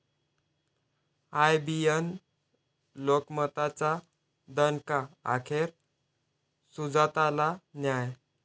IBN लोकमतचा दणका, अखेर सुजाताला न्याय